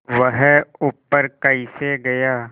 वह ऊपर कैसे गया